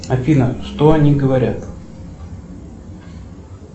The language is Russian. афина что они говорят